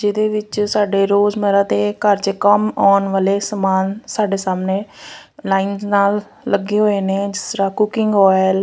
ਜਿਹਦੇ ਵਿੱਚ ਸਾਡੇ ਰੋਜ਼ ਮਰਾਤੇ ਘਰ ਵਿੱਚ ਕੰਮ ਆਉਣ ਵਾਲੇ ਸਮਾਨ ਸਾਡੇ ਸਾਹਮਣੇ ਲਾਈਨ ਨਾਲ ਲੱਗੇ ਹੋਏ ਨੇ ਜਿਸ ਤਰ੍ਹਾਂ ਕੁਕਿੰਗ ਓਇਲ --